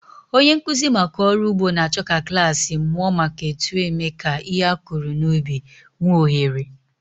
Onye nkụzi maka ọrụ ugbo na-achọ ka klas mụọ maka otu eme ka ihe a kụrụ n'ubi nwee ohere.